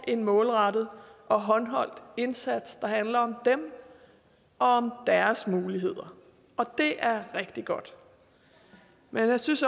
en målrettet og håndholdt indsats der handler om dem og om deres muligheder og det er rigtig godt men jeg synes